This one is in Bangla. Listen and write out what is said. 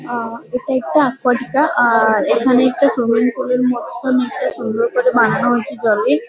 আ এটা একটা একোয়াটিকা আর এখানে একটা সুইমিং পুল - এর মতন সুন্দর করে বানানো হয়েছে জলে।